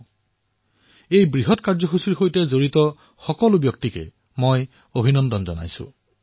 মই এই কাৰ্যৰ সৈতে জড়িত সকলো লোকক অভিনন্দন জনাইছো